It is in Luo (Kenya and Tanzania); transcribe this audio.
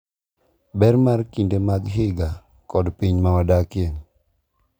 Ber mar kinde mag higa kod piny mawadakie.